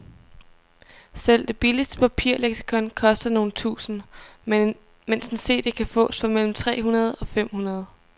Selv det billigste papirleksikon koster nogle tusinde, mens en cd kan fås for mellem tre hundrede og fem hundrede.